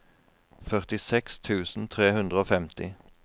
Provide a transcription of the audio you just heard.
førtiseks tusen tre hundre og femti